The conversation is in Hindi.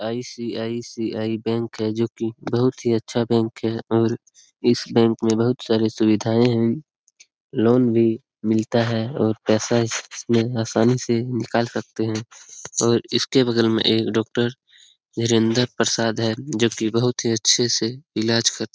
आई.सी.आई.सी.आई. बैंक है जो कि बहुत ही अच्छा बैंक है और इस बैंक में बहुत सारी सुविधाएं हैं। लोन भी मिलता है और पैसा इस में आसानी से निकाल सकते हैं और इस के बगल में एक डॉक्टर धीरेंदर प्रसाद है जो की बहुत ही अच्छे से इलाज कर --